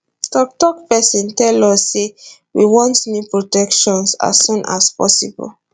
toktok pesin tell us say we want new protections as soon as possible